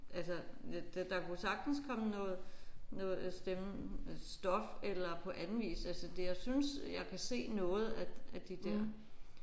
Altså det der kunne sagtens komme noget noget stemme stof eller på anden vis altså det jeg synes jeg kan se noget af af de der